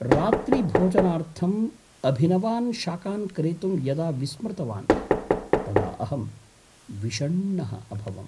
रात्रिभोजनार्थम् अभिनवान् शाकान् क्रेतुं यदा विस्मृतवान् तदा अहं विषण्णः अभवम्।